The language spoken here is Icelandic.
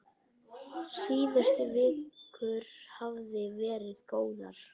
Síðustu vikur hafa verið góðar.